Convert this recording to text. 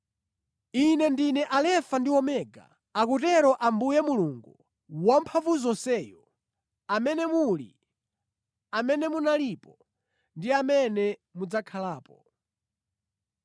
“Ine ndine Alefa ndi Omega,” akutero Ambuye Mulungu Wamphamvuzonseyo “amene muli, amene munalipo, ndi amene mudzakhalapo.”